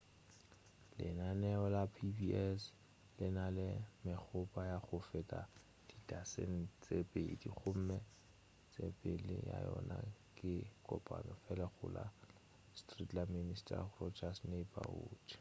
lenaneo la pbs le na le megopo ya go feta didasene tše pedi gomme tsepelo ya yona ke ye kopana fela go la sesame street le mister rogers' neighborhood